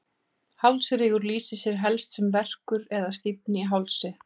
Hálsrígur lýsir sér helst sem verkur eða stífni í hálsi.